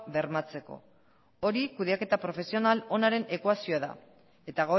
bermatzeko hori kudeaketa profesional onaren ekuazioa da eta